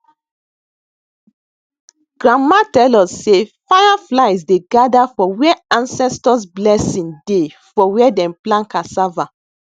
grandma tell us sey fireflies dey gather for where ancestors blessing dey for where dem plant ccassava